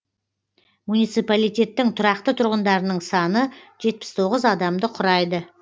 муниципалитеттің тұрақты тұрғындарының саны жетпіс тоғыз адамды құрайды